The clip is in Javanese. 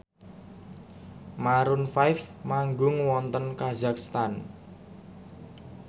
Maroon 5 manggung wonten kazakhstan